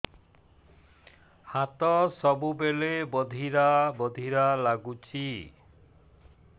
ହାତ ସବୁବେଳେ ବଧିରା ବଧିରା ଲାଗୁଚି